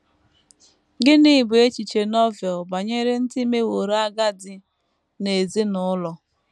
Gịnị bụ echiche Novel banyere ndị meworo agadi n’ezinụlọ??